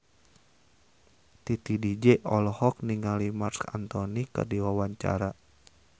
Titi DJ olohok ningali Marc Anthony keur diwawancara